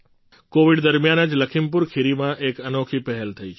covid દરમિયાન જ લખીમપુર ખીરીમાં એક અનોખી પહેલ થી છે